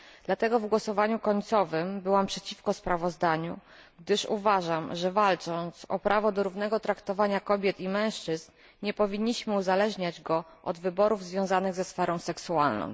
Dlatego w głosowaniu końcowym byłam przeciwko sprawozdaniu, gdyż uważam, że walcząc o prawo do równego traktowania kobiet i mężczyzn, nie powinniśmy uzależniać go od wyborów związanych ze sferą seksualną.